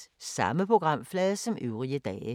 Samme programflade som øvrige dage